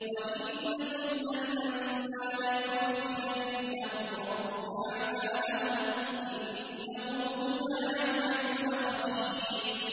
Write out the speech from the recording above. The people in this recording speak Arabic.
وَإِنَّ كُلًّا لَّمَّا لَيُوَفِّيَنَّهُمْ رَبُّكَ أَعْمَالَهُمْ ۚ إِنَّهُ بِمَا يَعْمَلُونَ خَبِيرٌ